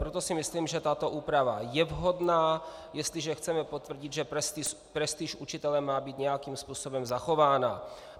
Proto si myslím, že tato úprava je vhodná, jestliže chceme potvrdit, že prestiž učitele má být nějakým způsobem zachována.